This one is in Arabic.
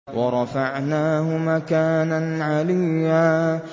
وَرَفَعْنَاهُ مَكَانًا عَلِيًّا